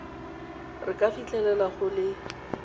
re ka fitlhelela go le